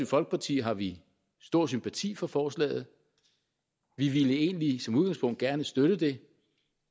folkeparti har vi stor sympati for forslaget vi ville egentlig som udgangspunkt gerne støtte det